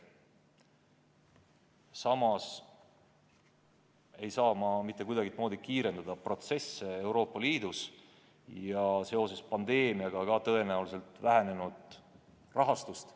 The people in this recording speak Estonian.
Samas ei saa me mitte kuidagimoodi kiirendada protsesse Euroopa Liidus ja seoses pandeemiaga ka tõenäoliselt vähenenud rahastust.